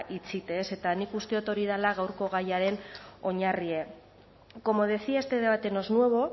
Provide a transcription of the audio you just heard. itxite eta nik uste dot hori dela gaurko gaiaren oinarrie como decía este debate no es nuevo